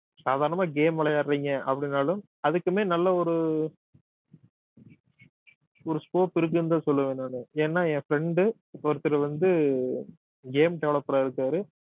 சாதாரணமா game விளையாடுறீங்க அப்படின்னாலும் அதுக்குமே நல்ல ஒரு ஒரு scope இருக்குன்னுதான் சொல்லுவேன் நானு ஏன்னா என் friend ஒருத்தரு வந்து game developer ஆ இருக்காரு